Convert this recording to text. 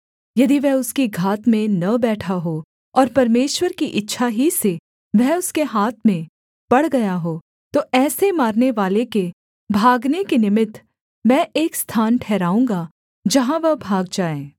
यदि वह उसकी घात में न बैठा हो और परमेश्वर की इच्छा ही से वह उसके हाथ में पड़ गया हो तो ऐसे मारनेवाले के भागने के निमित्त मैं एक स्थान ठहराऊँगा जहाँ वह भाग जाए